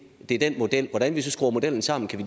er den model hvordan vi så skruer modellen sammen kan